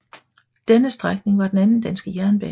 Denne strækning var den anden danske jernbane